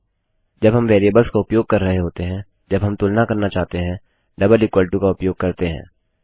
जब हम वेरिएबल्स का उपयोग कर रहे होते हैं जब हम तुलना करना चाहते हैं डबल इक्वल टू का उपयोग करते हैं